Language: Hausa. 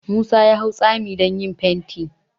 Musa ya hau tsami don yin fenti